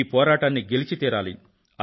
ఈ పోరాటాన్ని గెలిచి తీరాలి